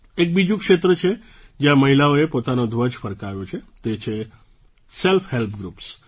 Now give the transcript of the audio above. એક બીજું ક્ષેત્ર છે જ્યાં મહિલાઓએ પોતાનો ધ્વજ ફરકાવ્યો છે તે છે સેલ્ફ હેલ્પગ્રૂપ્સ